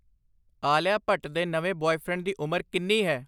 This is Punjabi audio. ਆਲੀਆ ਭੱਟ ਦੇ ਨਵੇਂ ਬੁਆਏਫ੍ਰੈਂਡ ਦੀ ਉਮਰ ਕਿੰਨੀ ਹੈ?